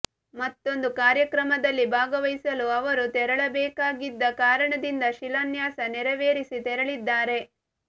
ಮತ್ತೊಂದು ಕಾರ್ಯಕ್ರಮದಲ್ಲಿ ಭಾಗವಹಿಸಲು ಅವರು ತೆರಳಬೇಕಾಗಿದ್ದ ಕಾರಣದಿಂದ ಶಿಲಾನ್ಯಾಸ ನೆರವೇರಿಸಿ ತೆರಳಿದ್ದಾರೆ